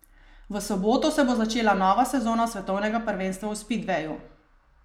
V soboto se bo začela nova sezona svetovnega prvenstva v spidveju.